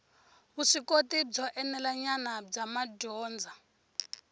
vuswikoti byo enelanyana bya madyondza